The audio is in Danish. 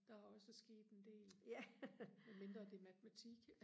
der er også sket en del med mindre det er matematik